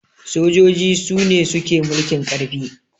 sojoji Sune suke mulkin karfi